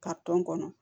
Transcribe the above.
Ka tɔn kɔnɔ